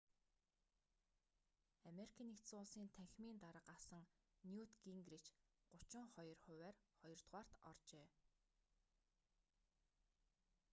ану-ын танхимын дарга асан ньют гингрич 32 хувиар хоёрдугаарт оржээ